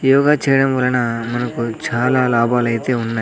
యోగ చేయడం వలన మనకు చాలా లాభాలైతే ఉన్నాయ్.